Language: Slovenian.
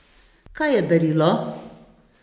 Kaj je darilo?